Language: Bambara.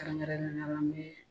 Kɛrɛnkɛrɛnneyala n bee